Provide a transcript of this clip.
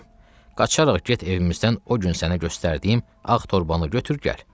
Qızım, qaçarax get evimizdən o gün sənə göstərdiyim ağ torbalı götür gəl.